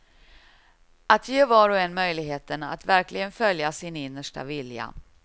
Att ge var och en möjligheten att verkligen följa sin innersta vilja.